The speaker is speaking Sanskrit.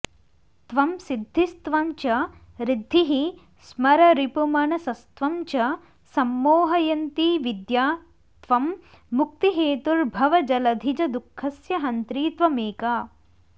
त्वं सिद्धिस्त्वं च ऋद्धिः स्मररिपुमनसस्त्वं च सम्मोहयन्ती विद्या त्वं मुक्तिहेतुर्भवजलधिजदुःखस्य हन्त्री त्वमेका